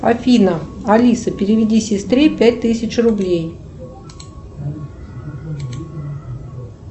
афина алиса переведи сестре пять тысяч рублей